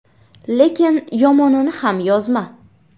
Lekin yomonini ham yozma.